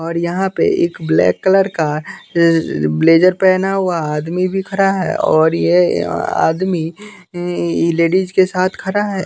और यहाँ पर एक ब्लैक कलर का ब्लेजर पहना हुआ आदमी भी खड़ा है और ये आदमी लेडीज के साथ खड़ा है।